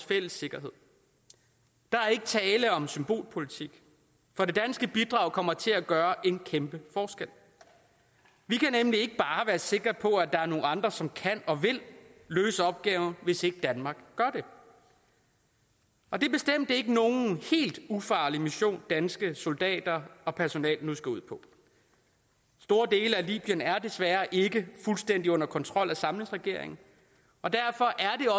fælles sikkerhed der er ikke tale om symbolpolitik for det danske bidrag kommer til at gøre en kæmpe forskel vi kan nemlig ikke bare være sikre på at der er nogle andre som kan og vil løse opgaven hvis ikke danmark gør det og det er bestemt ikke nogen helt ufarlig mission danske soldater og personel nu skal ud på store dele af libyen er desværre ikke fuldstændig under kontrol af samlingsregeringen og derfor er